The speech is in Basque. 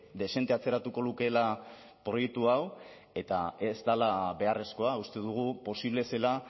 dezente atzeratuko lukeela proiektu hau eta ez dela beharrezkoa uste dugu posible zela